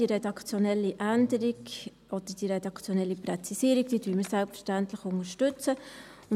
Diese redaktionelle Änderung oder diese redaktionelle Präzisierung unterstützen wir selbstverständlich.